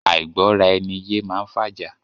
Àìgbọ́ra ẹni yé máá ń fàjà.